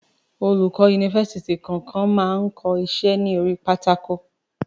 Olùkọ yunifásítì kankan ma ko iṣẹ́ ni orí pátákó.